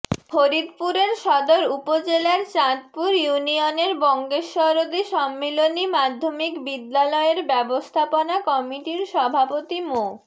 ফরিদপুরের সদর উপজেলার চাঁদপুর ইউনিয়নের বঙ্গেশ্বরদী সম্মিলনী মাধ্যমিক বিদ্যালয়ের ব্যবস্থাপনা কমিটির সভাপতি মো